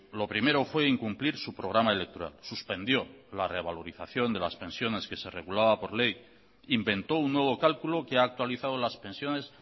lo primero fue incumplir su programa electoral suspendió la revalorización de las pensiones que se regulaba por ley inventó un nuevo cálculo que ha actualizado las pensiones